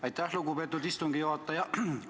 Aitäh, lugupeetud istungi juhataja!